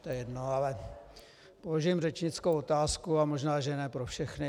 To je jedno, ale vložím řečnickou otázku a možná že ne pro všechny.